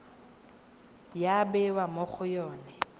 ya bewa mo go yone